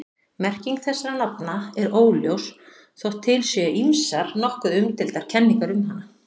Merking þessara nafna er óljós þótt til séu ýmsar nokkuð umdeildar kenningar um hana.